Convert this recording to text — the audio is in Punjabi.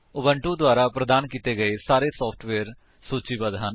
ਉਬੁੰਟੂ ਦੁਆਰਾ ਪ੍ਰਦਾਨ ਕੀਤੇ ਗਏ ਸਾਰੇ ਸੋਫਟਵੇਅਰਸ ਸੂਚੀਬੱਧ ਹਨ